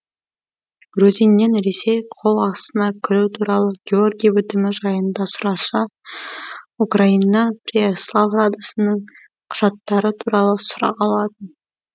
грузиннен ресей қол астына кіру туралы георгий бітімі жайында сұраса украиннан преяслав радасының құжаттары туралы сұрақ алатын